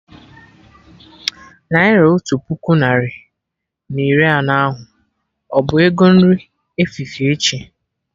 Naira otu puku narị na iri anọ ahụ, ọbụ ego nri efifie echi?